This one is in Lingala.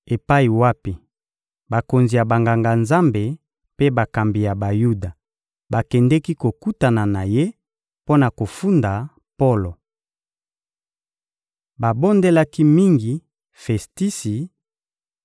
epai wapi bakonzi ya Banganga-Nzambe mpe bakambi ya Bayuda bakendeki kokutana na ye mpo na kofunda Polo. Babondelaki mingi Festisi